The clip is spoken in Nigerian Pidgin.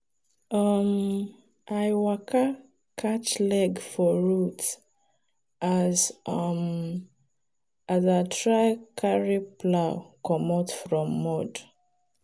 um i waka catch leg for root as um i try carry plow comot from mud.